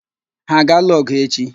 Ha a ga-alụ ọ̀gụ̀ echi?